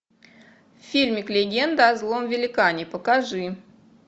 фильмик легенда о злом великане покажи